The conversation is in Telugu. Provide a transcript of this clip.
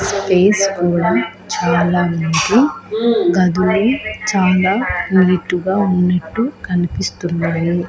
స్పేస్ కూడా చాలా ఉంది గదులు చాలా నీటు గా ఉన్నట్టు కనిపిస్తున్నాయి.